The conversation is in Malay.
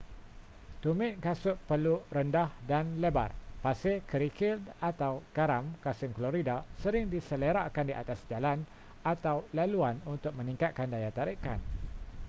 tumit kasut perlu rendah dan lebar. pasir kerikil atau garam kalsium klorida sering diselerakkan di atas jalan atau laluan untuk meningkatkan daya tarikan